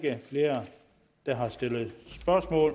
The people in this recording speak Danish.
man også går